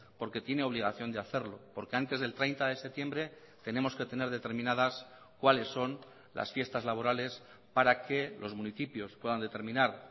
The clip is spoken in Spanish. porque tiene obligación de hacerlo porque antes del treinta de septiembre tenemos que tener determinadas cuáles son las fiestas laborales para que los municipios puedan determinar